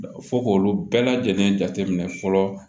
Fɔ k'olu bɛɛ lajɛlen jate minɛ fɔlɔ